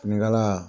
Finikala